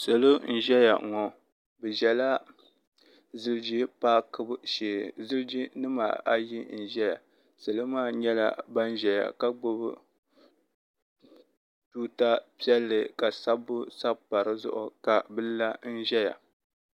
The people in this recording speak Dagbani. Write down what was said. salo n-ʒela ŋɔ bɛ ʒela ziliji paakibu shee ziliji nima ayi n-ʒeya salo maa nyɛla ban ʒeya ka gbubi tuuta piɛlli ka sabbu sabi pa di zuɣu ka bɛ la n-ʒeya.